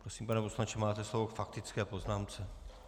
Prosím, pane poslanče, máte slovo k faktické poznámce.